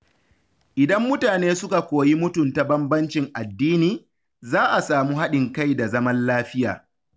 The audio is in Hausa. Idan mutane suka koyi mutunta bambancin addini, za a samu haɗin kai da zaman lafiya.